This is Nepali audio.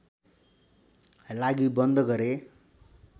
लागि बन्द गरे